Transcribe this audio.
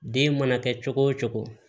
Den mana kɛ cogo o cogo